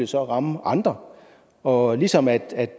så ramme andre og ligesom at